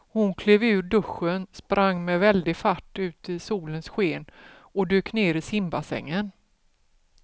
Hon klev ur duschen, sprang med väldig fart ut i solens sken och dök ner i simbassängen.